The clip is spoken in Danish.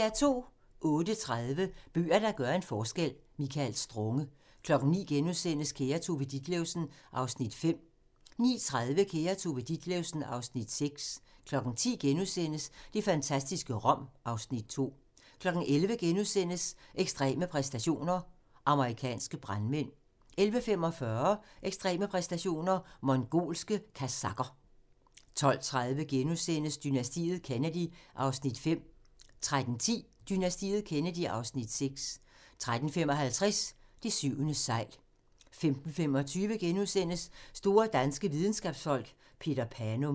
08:30: Bøger, der gør en forskel – Michael Strunge 09:00: Kære Tove Ditlevsen (Afs. 5)* 09:30: Kære Tove Ditlevsen (Afs. 6) 10:00: Det fantastiske Rom (Afs. 2)* 11:00: Ekstreme præstationer: Amerikanske brandmænd * 11:45: Ekstreme præstationer: Mongolske kazakher 12:30: Dynastiet Kennedy (Afs. 5)* 13:10: Dynastiet Kennedy (Afs. 6) 13:55: Det syvende segl 15:25: Store danske videnskabsfolk: Peter Panum *